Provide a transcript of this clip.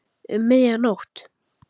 Um miðja nótt?